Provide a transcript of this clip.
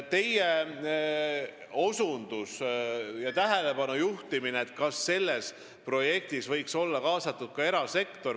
Nüüd, te juhtisite tähelepanu sellele, kas sellesse projekti võiks olla kaasatud ka erasektor.